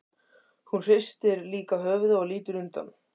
Hún hristir líka höfuðið og lítur undan.